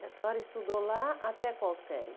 E a senhora estudou lá até qual série?